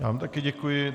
Já vám také děkuji.